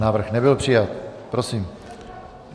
Návrh nebyl přijat. Prosím.